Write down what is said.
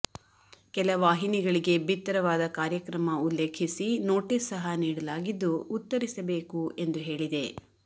ಕೆಲ ವಾಹಿನಿಗಳಿಗೆ ಬಿತ್ತರವಾದ ಕಾರ್ಯಕ್ರಮ ಉಲ್ಲೇಖಿಸಿ ನೋಟಿಸ್ ಸಹ ನೀಡಲಾಗಿದ್ದು ಉತ್ತರಿಸಬೇಕು ಎಂದು ಹೇಳಿದೆ